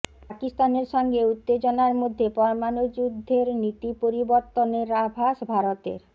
পাকিস্তানের সঙ্গে উত্তেজনার মধ্যে পরমাণু যুদ্ধের নীতি পরিবর্তনের আভাস ভারতের